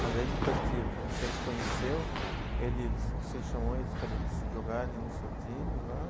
Mas aí depois que que você os conheceu, eles, você chamou eles para jogarem no seu time lá?